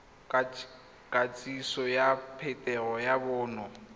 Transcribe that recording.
kitsiso ya phetogo ya bonno